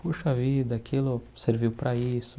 Puxa vida, aquilo serviu para isso.